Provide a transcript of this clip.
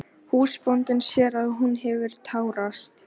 Húsbóndinn sér að hún hefur tárast.